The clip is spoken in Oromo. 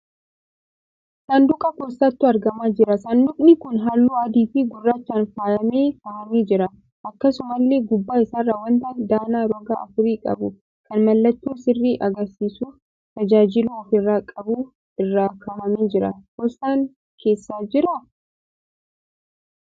Saanduqa poostaatu argamaa jira. Saanduqni kun halluu adii fi gurraachaan faayyamee kahamee jira. Akkasumallee gubbaa isaarra wanta danaa roga afurii qabu, kan mallattoo sirrii agarsiisuuf tajaajiluu ofirraa qabu irra kahamee jira. Poostaan keessa jiraa?